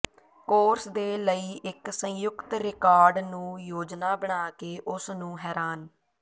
course ਦੇ ਲਈ ਇੱਕ ਸੰਯੁਕਤ ਰਿਕਾਰਡ ਨੂੰ ਯੋਜਨਾ ਬਣਾ ਕੇ ਉਸ ਨੂੰ ਹੈਰਾਨ